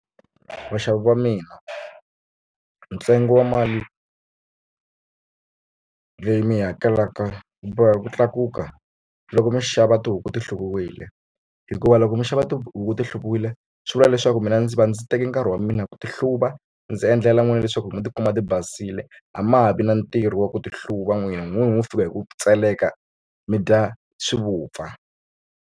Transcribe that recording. Vaxavi va mina ntsengo wa mali leyi mi yi hakelaka yi boheka ku tlakuka loko mi xava tihuku ti hluviwile hikuva loko mi xava tihuku ti hluviwile swi vula leswaku mina ndzi va ndzi teke nkarhi wa mina ku ti hluva ndzi endlela n'wina leswaku mi ti kuma tibasile a ma ha vi na ntirho wa ku ti hluva n'wina mho fika hi ku tseleka mi dya swi vupfa.